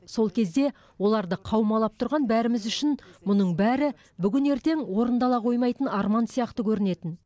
сол кезде оларды қаумалап тұрған бәріміз үшін мұның бәрі бүгін ертең орындала қоймайтын арман сияқты көрінетін